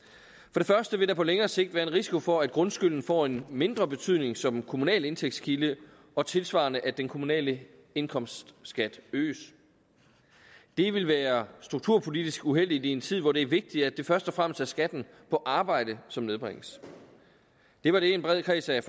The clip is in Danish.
det første vil der på længere sigt være en risiko for at grundskylden får en mindre betydning som kommunal indtægtskilde og tilsvarende at den kommunale indkomstskat øges det vil være strukturpolitisk uheldigt i en tid hvor det er vigtigt at det først og fremmest er skatten på arbejde som nedbringes det var det en bred kreds af